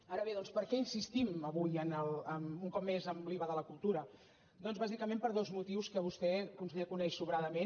ara bé doncs per què insistim avui un cop més en l’iva de la cultura doncs bàsicament per dos motius que vostè conseller coneix sobradament